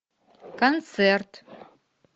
концерт